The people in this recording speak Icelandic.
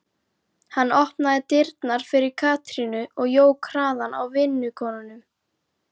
Hann opnaði dyrnar fyrir Katrínu og jók hraðann á vinnukonunum.